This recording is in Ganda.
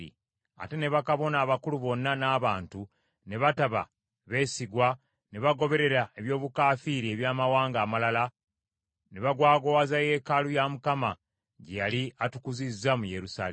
Ate ne bakabona abakulu bonna n’abantu, ne bataba beesigwa ne bagoberera eby’obukaafiiri eby’amawanga amalala, ne bagwagwawaza yeekaalu ya Mukama , gye yali atukuzizza mu Yerusaalemi.